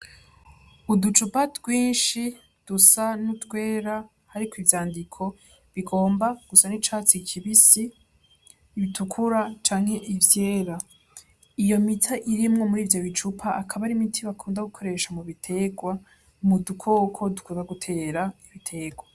Uducupa twinshi dusa n'utwera hariko ivyandiko bigomba gusa n'icatsi kibisi, bitukura, canke ivyera. Iyo miti irimwo murivyo bicupa, akaba ari imiti bakunda gukoresha mu biterwa, mu dukoko dukunda gutera ibiterwa.